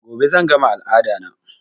Gobe zan gama al'ada na